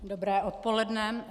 Dobré odpoledne.